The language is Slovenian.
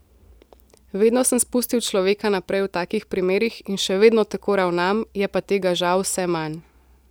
Vedno sem spustil človeka naprej v takih primerih in še vedno tako ravnam, je pa tega žal vse manj.